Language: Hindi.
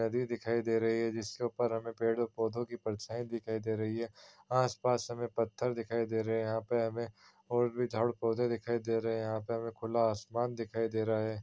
नदी दिखाई दे रही है जिसके ऊपर हमे पेड़ और पौधे के परछाई दिखाई दे रही है आसपास हमें पत्थर दिखाई दे रहे हैं यहाँ पे हमे झाड़ पौधे दिखाई दे रहे हैं यहाँ पे हमे खुला आसमान दिखाई दे रहा है।